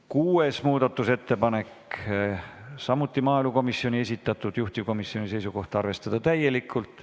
Kuues muudatusettepanek, samuti maaelukomisjoni esitatud, juhtivkomisjoni seisukoht: arvestada täielikult.